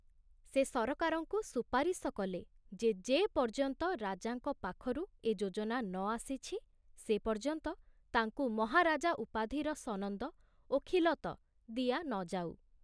ସେ ସରକାରଙ୍କୁ ସୁପାରିଶ କଲେ ଯେ ଯେପର୍ଯ୍ୟନ୍ତ ରାଜାଙ୍କ ପାଖରୁ ଏ ଯୋଜନା ନ ଆସିଛି, ସେ ପର୍ଯ୍ୟନ୍ତ ତାଙ୍କୁ ମହାରାଜା ଉପାଧି ସନନ୍ଦ ଓ ଖିଲତ ଦିଆ ନ ଯାଉ।